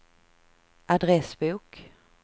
adressbok